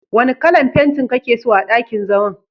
Wanna kalan fentin kake so a ɗakin zaman?